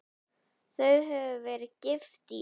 Þau höfðu verið gift í